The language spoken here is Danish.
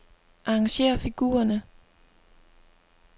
Arrangér figurerne.